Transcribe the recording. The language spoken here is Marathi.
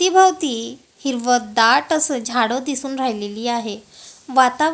अवतीभवती हिरव दाट अस झाडं दिसून राहिलेली आहे वातावर --